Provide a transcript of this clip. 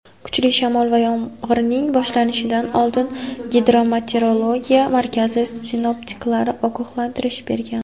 kuchli shamol va yomg‘irning boshlanishidan oldin Gidrometeorologiya markazi sinoptiklari ogohlantirish bergan.